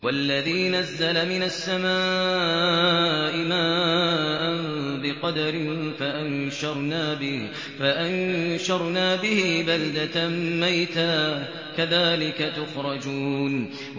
وَالَّذِي نَزَّلَ مِنَ السَّمَاءِ مَاءً بِقَدَرٍ فَأَنشَرْنَا بِهِ بَلْدَةً مَّيْتًا ۚ كَذَٰلِكَ تُخْرَجُونَ